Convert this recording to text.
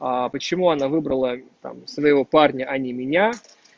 а почему она выбрала там своего парня а не меня